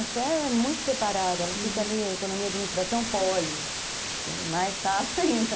A fé é muito separada, uhum, ela fica ali, a economia e a administração, poli, que é mais chato ainda.